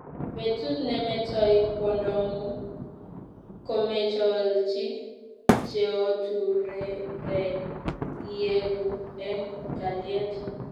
Betut nemetoi kwondongung komecholchi cheoturekei ieku eng kalyet